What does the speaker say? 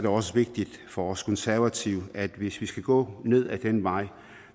også vigtigt for os konservative at vi hvis vi skal gå ned ad den vej